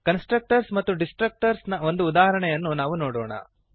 constructors ಮತ್ತು destructors ನ ಒಂದು ಉದಾಹರಣೆಯನ್ನು ನಾವು ನೋಡೋಣ